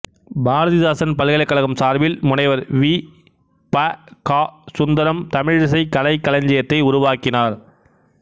பாரதிதாசன் பல்கலைக்கழகம் சார்பில் முனைவர் வீ ப கா சுந்தரம் தமிழிசைக் கலைக்களஞ்சியத்தை உருவாக்கினார்